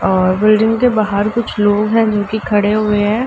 और बिल्डिंग के बाहर कुछ लोग हैं जो कि खड़े हुए हैं।